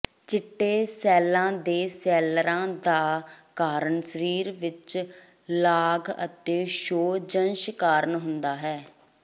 ਚਿੱਟੇ ਸੈੱਲ ਦੇ ਸੈਲਰਾਂ ਦਾ ਕਾਰਨ ਸਰੀਰ ਵਿੱਚ ਲਾਗ ਅਤੇ ਸੋਜਸ਼ ਕਾਰਨ ਹੁੰਦਾ ਹੈ